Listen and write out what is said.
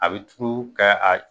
A bɛ turu ka a